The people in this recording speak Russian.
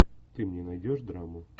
ты мне найдешь драму